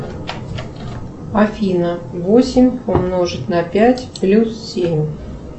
афина восемь умножить на пять плюс семь